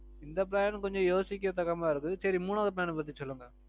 இந்த plan கொஞ்சம் யோசிக்க தக்க மாதிரி இருக்கு. சரி மூணாவது plan அ பத்தி சொல்லுங்க.